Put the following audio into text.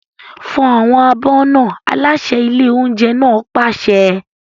Fọ àwọn abọ́ náà! Aláṣẹ ilé oúnjẹ náà pàṣẹ.